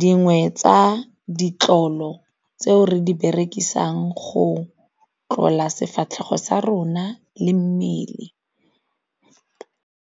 dingwe tsa ditlolo tseo re di berekisang go tlola sefatlhego sa rona le mmele.